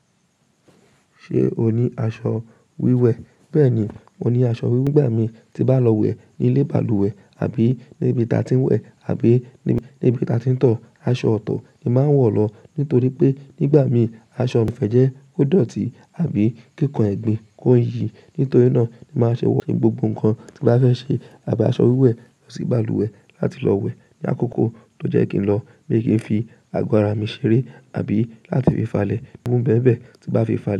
Ṣé o ní aṣọ wíwẹ̀? Bẹ́ẹ̀ni, mo ní aṣọ wíwẹ̀ nígbà mi ti ba lọ wẹ̀ ní ilé balùwẹ̀ àbí níbi ta tí ń wẹ̀ àbí níbi ta tí ń tọ̀. Aṣọ itọ̀ ni máa ń wọ̀ lọ nítorí pé nígbà mi aṣọ mi fẹ́ jẹ́ kó dọ̀tí àbí kí nkan ẹgbin kó yìí. Nítorí náà ni màá ṣe wọ̀ ní gbogbo ǹkan tí bá fẹ́ ṣe. Àbí aṣọ wíwẹ̀ lọ sí balùwẹ̀ láti lọ wẹ̀ ní àkókò tó jẹ́ kí n lọ, mi i kí n fi àgọ́ ara mi ṣeré àbí láti fi fàlẹ̀ aburú ǹbẹ̀ ǹbẹ̀ tí bá fi fàlẹ̀.